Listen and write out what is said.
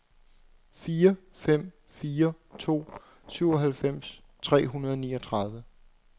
fire fem fire to syvoghalvfems tre hundrede og niogtredive